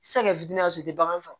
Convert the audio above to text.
Se ka kɛ fitinin tɛ bagan faga